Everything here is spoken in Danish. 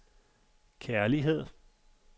kærlighed